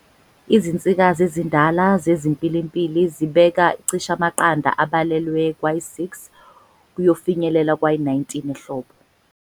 Izinsikazi ezindala zeziMpilimpili zibeka cishe amaqanda abalelwe kwayisi-6 kuyofinyelela kwayi-19 ehlobo.